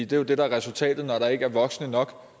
det er jo det der er resultatet når der ikke er voksne nok